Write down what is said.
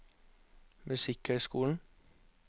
musikkhøyskolen